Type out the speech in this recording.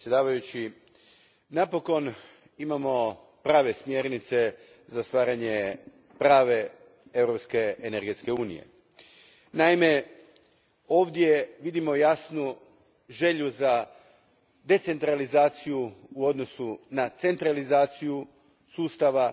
Gospodine predsjedniče, napokon imamo prave smjernice za stvaranje prave europske energetske unije. Naime, ovdje vidimo jasnu želju za decentralizacijom u odnosu na centralizaciju sustava,